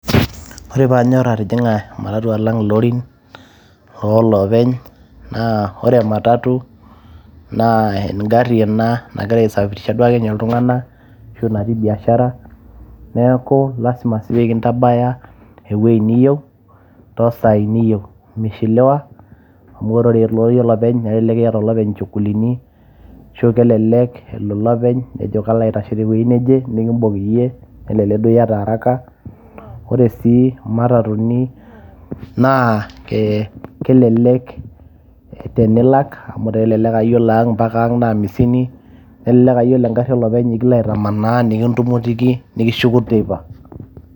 ore paanyorr atijing'a ematatu alang ilorin oolopeny naa ore ematatu naa engarri ena nagira aisafirisha duo ake ninye iltung'anak ashu natii biashara neeku lasima sii pekintabaya ewueji niyieu tosaai niyieu mishiliwa amu ore elori olopeny nelek eeta olopeny inchuguluni ashu kelelek elo olopeny nejo kalo aitashe tewueji neje nikimbok iyie nelelek duo iyata araka ore sii imatatatuni naa eh, kelelek tenilak amu kelek aa yiolo ang mpaka ang naa amisini nelelek uh, yiolo engarri olopeny ekilo aitamanaa nikintumutiki nikishuku teipa.